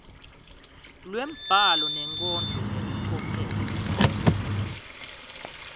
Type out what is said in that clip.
lwembhalo nenkondlo ngelicophelo